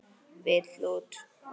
Vill út.